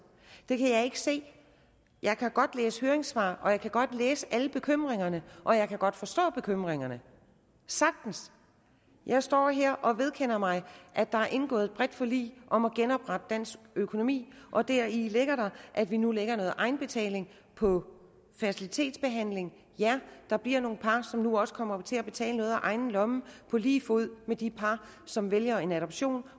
det kan jeg ikke se jeg kan godt læse høringssvar og jeg kan godt læse om alle bekymringerne og jeg kan godt forstå bekymringerne sagtens jeg står her og vedkender mig at der er indgået et bredt forlig om at genoprette dansk økonomi og deri ligger at vi nu lægger noget egenbetaling på fertilitetsbehandling ja der bliver nogle par som nu også kommer til at betale noget af egen lomme på lige fod med de par som vælger en adoption